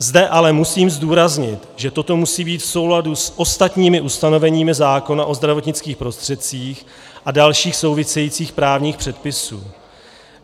Zde ale musím zdůraznit, že toto musí být v souladu s ostatními ustanoveními zákona o zdravotnických prostředcích a dalších souvisejících právních předpisů.